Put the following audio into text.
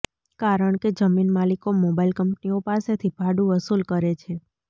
કારણ કે જમીન માલિકો મોબાઇલ કંપનીઓ પાસેથી ભાડું વસૂલ કરે છે